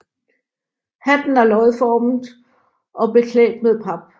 Hatten er løgformet og beklædt med pap